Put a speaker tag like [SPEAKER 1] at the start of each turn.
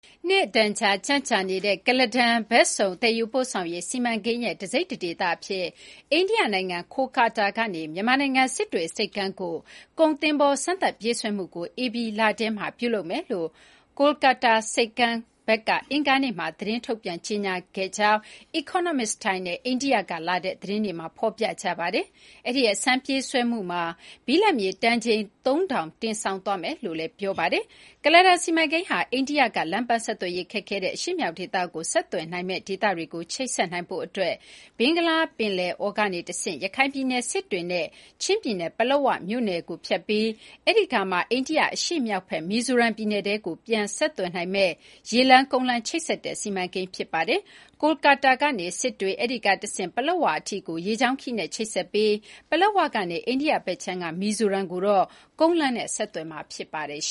[SPEAKER 1] နှစ်အတန်ကြာ ကြန့်ကြာနေတဲ့ ကုလားတန်ဘက်စုံ သယ်ယူပို့ဆောင်ရေး စီမံကိန်းရဲ့တစိတ်တဒေသအဖြစ် အိန္ဒိယနိုင်ငံ ကာလ်ကတ္တားကနေ မြန်မာနိုင်ငံ စစ်တွေဆိပ်ကမ်းကို ကုန်သင်္ဘော စမ်းသပ်ပြေးဆွဲမှုကို ဧပြီလထဲမှာ ပြုလုပ်သွားမယ်လို့ ကာလကတ္တားဆိပ်ကမ်း Syama Prasad Mookerjee ဘက်က အင်္ဂါနေ့က ထုတ်ပြန်ကြေညာခဲ့တယ်လို့ Economic Times နဲ့ အိန္ဒိယကလာတဲ့သတင်းတွေမှာ ဖော်ပြထားပါတယ်။ အဲဒီ အစမ်းပြေးဆွဲမှုမှာ ဘိလပ်မြေတန်ချိန် ၃,၀၀၀ တင်ဆောင်သွားမယ်လို့ ဆိုပါတယ်။ ကုလားတန်စီမံကိန်းဟာ အိန္ဒိယက လမ်းပန်းဆက်သွယ်ရေးခက်ခဲတဲ့ အရှေ့မြောက်ဒေသကိုဆက်သွယ်နိုင်မယ့် ဒေသတွေကို ချိတ်ဆက်နိုင်ဖို့အတွက် ဘင်္ဂလားပင်လယ်အော်ကနေတဆင့် ရခိုင်ပြည်နယ် စစ်တွေနဲ့ ချင်းပြည်နယ် ပလက်ဝမြို့နယ်ကိုဖြတ်ပြီး အဲဒီကမှ အိန္ဒိယအရှေ့မြောက်ဘက် မီဇိုရမ်ပြည်နယ်ကိုထဲကို ပြန် ဆက်သွယ်နိုင်မယ့် ရေလမ်း၊ ကုန်းလမ်း ချိတ်ဆက်တဲ့ စီမံကိန်း ဖြစ်ပါတယ်။ ကာလ်ကတ္တားကနေ စစ်တွေ၊ အဲဒီကတဆင့် ပလက်ဝအထိ ရေကြောင်းခရီးနဲ့ ချိတ်ဆက်ပြီး ပလက်ဝကနေ အိန္ဒိယဘက်ခြမ်းက မီဇိုရမ်ကိုအထိတော့ ကုန်းလမ်းဆက်သွယ်မှာ ဖြစ်ပါတယ်။